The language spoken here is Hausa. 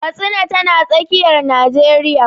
Katsina tana tsakiyar Najeriya.